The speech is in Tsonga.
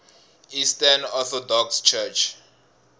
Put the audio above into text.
eastern orthodox church